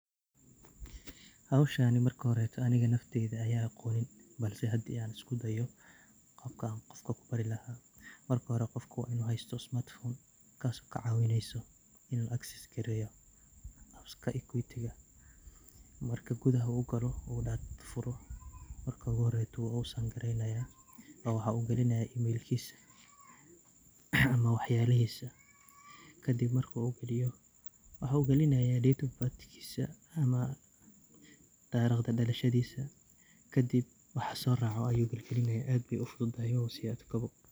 Hawshaan marka horeyso aniga nafteyda ayaa aqonin ,balse haddii aan isku dayo qabkaan qofka u bari lahaa .Marka hore qofka waa inuu haysto smartphone kaas oo ka cawineyso in uu access gareeyo apps ka Equity ga .Marka gudaha u galo oo uu furo, marka ugu horeyto waan u sign gareynayaa oo waxaan u galinayaa e-mail kiisa ama wax yalihiisa ,kadib markuu galiyo waxuu galinayaa date of birth kiisa ama tarikhda dhalashadiisa kadib waxa soo raaco ayuu galgalinayaa aad ayey u fududahay mawa sii adko.